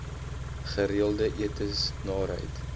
gereelde etes naarheid